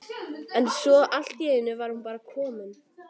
en svo allt í einu var hún bara komin!